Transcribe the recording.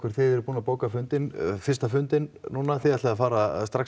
þið eruð búin að bóka fundinn fyrsta fundinn þið ætlið strax